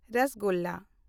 ᱨᱚᱥᱚᱜᱚᱞᱞᱟ